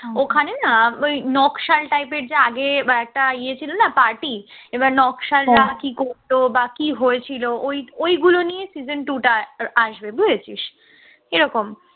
ওখানে আহ ওই নকশাল type এর যে আগে একটা ইয়ে ছিল না party এবার নকশালরা কি করত বা কি হয়েছিল ওই ওইগুলো নিয়ে season two টা আসবে বুঝেছিস এরকম